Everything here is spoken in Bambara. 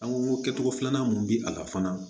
An ko kɛcogo filanan mun bɛ a la fana